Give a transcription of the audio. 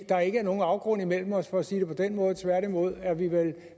der ikke er nogen afgrund imellem os for at sige det på den måde tværtimod er vi vel